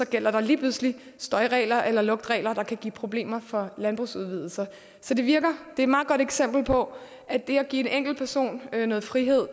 gælder der lige pludselig støjregler eller lugtregler der kan give problemer for landbrugsudvidelser så det er et meget godt eksempel på at det at give en enkelt person noget frihed